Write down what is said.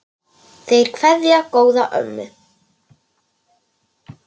Þeir kveðja góða ömmu.